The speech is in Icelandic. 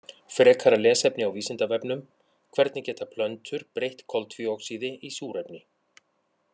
Frekara lesefni á Vísindavefnum: Hvernig geta plöntur breytt koltvíoxíði í súrefni?